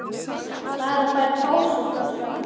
Maður fær pásu frá sjálf